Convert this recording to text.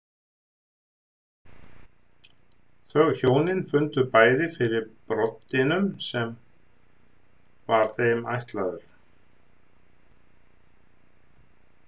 Þau hjónin fundu bæði fyrir broddinum sem var þeim ætlaður.